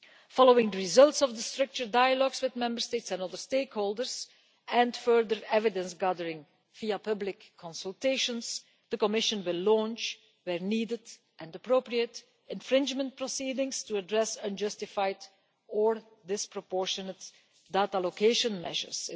Following the results of the structured dialogues with Member States and other stakeholders and further evidence gathering via public consultations, the Commission will launch, where needed and appropriate, infringement proceedings to address unjustified or disproportionate data location measures.